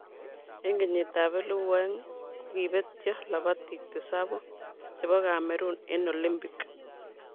Eng kenyitab 2000,kokibetyo labatik tisabu che bo Cameroon eng Olimpik.